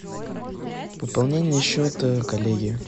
пополнение счета коллеге